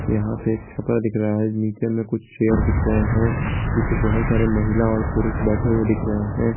यहां पे एक छपरा दिख रहा है नीचे में कुछ चेयर दिख रहे हैं जिस पे बहुत सारे महिला और पुरुष बैठे हुए दिख रहे हैं।